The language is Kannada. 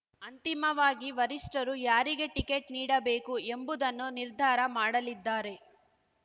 ಅಂತಿಮವಾಗಿ ವರಿಷ್ಠರು ಯಾರಿಗೆ ಟಿಕೆಟ್ ನೀಡಬೇಕು ಎಂಬುದನ್ನು ನಿರ್ಧಾರ ಮಾಡಲಿದ್ದಾರೆ